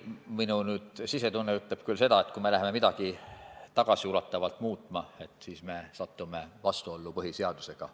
Minu sisetunne ütleb siin seda, et kui me läheme midagi tagasiulatavalt muutma, siis me satume vastuollu põhiseadusega.